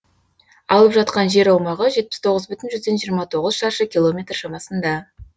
алып жатқан жер аумағы жетпіс тоғыз бүтін жүзден жиырма тоғыз шаршы километр шамасында